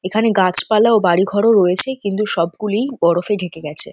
এখানে গাছপালা ও বাড়িঘর ও রয়েছে কিন্তু সবগুলিই বরফে ঢেকে গেছে।